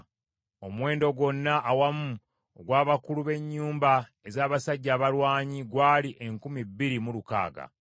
Omuwendo gwonna awamu ogw’abakulu b’ennyumba ez’abasajja abalwanyi gwali enkumi bbiri mu lukaaga (2,600).